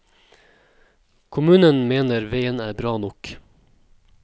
Kommunen mener veien er bra nok.